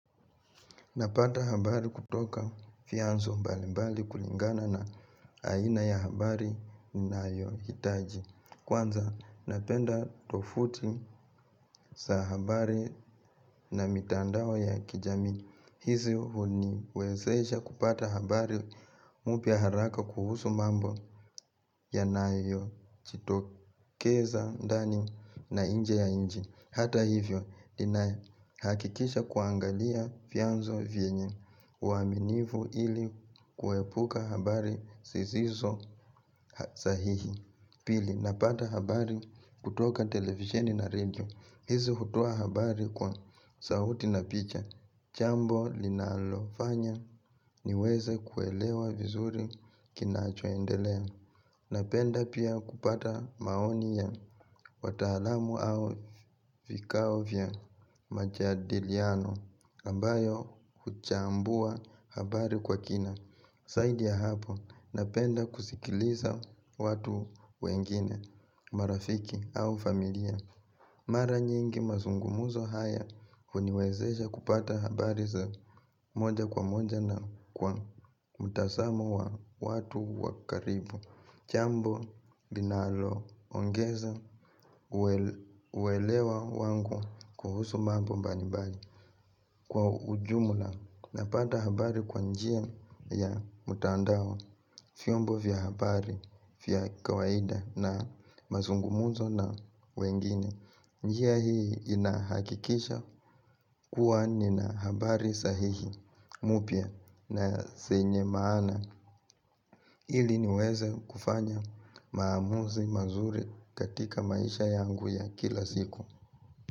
Napata habari kutoka vyanzo mbali mbali kulingana na aina ya habari ninayohitaji. Kwanza napenda tovuti za habari na mitandao ya kijamii. Hizi huniwezesha kupata habari mpya haraka kuhusu mambo yanayojitokeza ndani na nje ya nchi. Hata hivyo, ninahakikisha kuangalia vyanzo vyenye uaminifu ili kuepuka habari zisizo sahihi. Pili, napata habari kutoka televisheni na radio. Hizi hutoa habari kwa sauti na picha. Jambo linalofanya niweze kuelewa vizuri kinachoendelea. Napenda pia kupata maoni ya wataalamu au vikao vya majadiliano ambayo huchambua habari kwa kina. Zaidi ya hapo napenda kusikiliza watu wengine marafiki au familia. Mara nyingi mazungumuzo haya huniwezesha kupata habari za moja kwa moja na kwa mtazamo wa watu wa karibu. Jambo linaloongeza uwelewa wangu kuhusu mambo mbalimbali kwa ujumla napata habari kwa njia ya mtandao vyombo vya habari vya kawaida na mazungumzo na wengine. Njia hii inahakikisha kuwa nina habari sahihi mpya na zenye maana. Ili niweze kufanya maamuzi mazuri katika maisha yangu ya kila siku.